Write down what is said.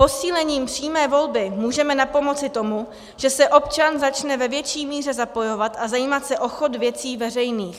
Posílením přímé volby můžeme napomoci tomu, že se občan začne ve větší míře zapojovat a zajímat se o chod věcí veřejných.